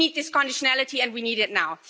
We need this conditionality and we need it now.